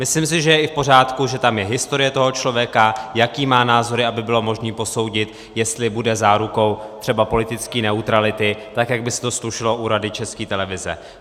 Myslím si, že je i v pořádku, že tam je historie toho člověka, jaké má názory, aby bylo možné posoudit, jestli bude zárukou třeba politické neutrality, tak jak by se to slušelo u Rady České televize.